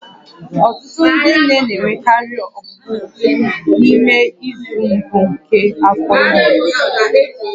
Ọtụtụ ndị nne na-enwekarị ọgbụgbọ n'ime izu mbụ nke afọ ime